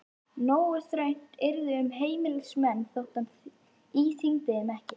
Nógu þröngt yrði um heimilismenn þótt hann íþyngdi þeim ekki.